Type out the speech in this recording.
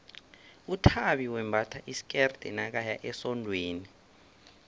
uthabi wembatha isikerde nakaya esondweni